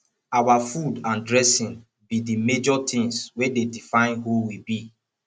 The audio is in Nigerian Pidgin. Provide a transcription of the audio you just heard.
our food and dressing be di major things wey dey define who we be